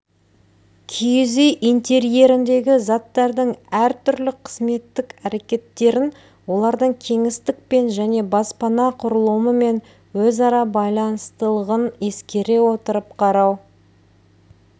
киіз үй интерьеріндегі заттардың әр түрлі қызметтік әрекеттерін олардың кеңістікпен және баспана құрылымымен өзара байланыстылығын ескере отырып қарау